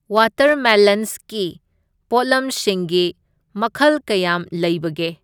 ꯋꯥꯇꯔꯃꯦꯂꯟꯁꯀꯤ ꯄꯣꯠꯂꯝꯁꯤꯡꯒꯤ ꯃꯈꯜ ꯀꯌꯥꯝ ꯂꯩꯕꯒꯦ?